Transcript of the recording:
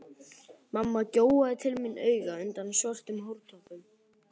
Mamma gjóaði til mín auga undan svörtum hártoppnum.